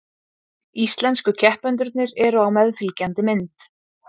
Íslensku keppendurnir eru á meðfylgjandi mynd